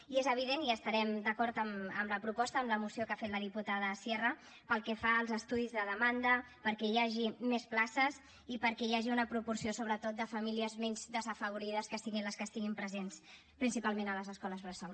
i és evident i estarem d’acord amb la proposta amb la moció que ha fet la diputada sierra pel que fa als estudis de demanda perquè hi hagi més places i perquè hi hagi una proporció sobretot de famílies menys desafavorides que siguin les que estiguin presents principalment a les escoles bressol